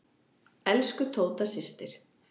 Elsku Tóta systir.